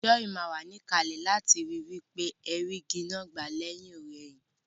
Joy má wa níkàlè láti ri wípé ẹ rí igi náà gbà lẹ́hìnọ̀rẹhìn